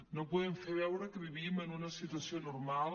no podem fer veure que vivim en una situació normal